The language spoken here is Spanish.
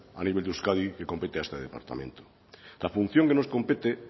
a nivel de euskadi que compete a este departamento la función que nos compete